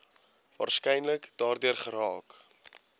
waarskynlik daardeur geraak